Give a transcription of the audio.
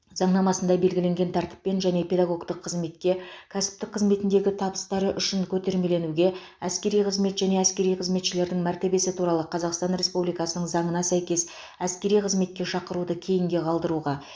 заңнамасында белгіленген тәртіппен жеке педагогтік қызметке кәсіптік қызметіндегі табыстары үшін көтермеленуге әскери қызмет және әскери қызметшілердің мәртебесі туралы қазақстан республикасының заңына сәйкес әскери қызметке шақыруды кейінге қалдыруға